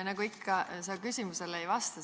Nagu ikka, sa küsimusele ei vasta.